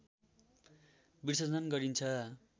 विसर्जन गरिन्छ